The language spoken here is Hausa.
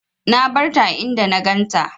Na barta a inda na ganta.